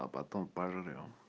а потом пожрём